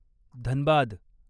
Dhanbad